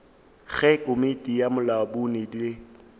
ge komiti ya bolamodi e